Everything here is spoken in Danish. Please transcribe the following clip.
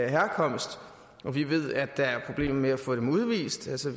herkomst vi ved at der er problemer med at få dem udvist altså